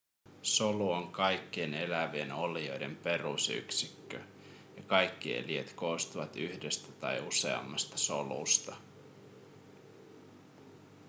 solu on kaikkien elävien olioiden perusyksikkö ja kaikki eliöt koostuvat yhdestä tai useammasta solusta